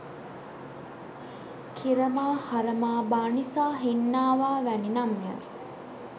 කිරමා හරමා බානිසා හින්නාවා වැනි නම් ය.